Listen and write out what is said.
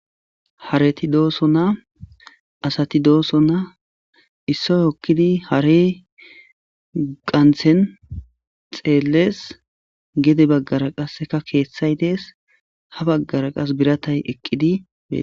Hareti dosona asati dosona issay hokidi harey qantha xeles gede bagara qaseka kethay des ha bagara qase biratay eqidi betes